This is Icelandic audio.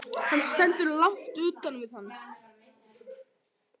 Hann stendur langt utan við hann.